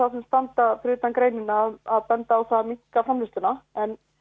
utan greinina að benda á það að minnka framleiðsluna en